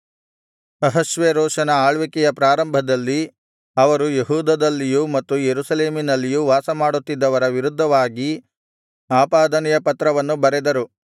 ಅಹಷ್ವೇರೋಷನ ಆಳ್ವಿಕೆಯ ಪ್ರಾರಂಭದಲ್ಲಿ ಅವರು ಯೆಹೂದದಲ್ಲಿಯೂ ಮತ್ತು ಯೆರೂಸಲೇಮಿನಲ್ಲಿಯೂ ವಾಸ ಮಾಡುತ್ತಿದ್ದವರ ವಿರುದ್ಧವಾಗಿ ಆಪಾದನೆಯ ಪತ್ರವನ್ನು ಬರೆದರು